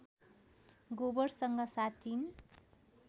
गोबरसँग साटिन्